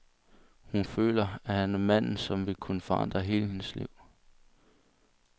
Hun føler, at han er manden, som vil kunne forandre hele hendes liv.